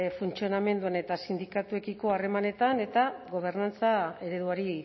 funtzionamenduan eta sindikatuekiko harremanetan eta gobernantza ereduari